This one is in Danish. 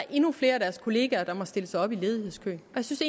endnu flere af deres kollegaer der må stille sig op i ledighedskøen der synes